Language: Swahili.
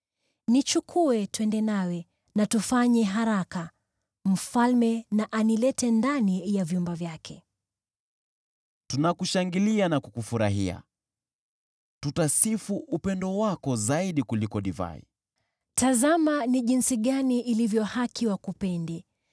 Nichukue twende nawe, na tufanye haraka! Mfalme na anilete ndani ya vyumba vyake. Marafiki Tunakushangilia na kukufurahia, tutasifu upendo wako zaidi kuliko divai. Mpendwa Tazama jinsi ilivyo bora wakupende!